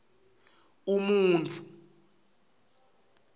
umuntfu